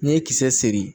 N'i ye kisɛ seri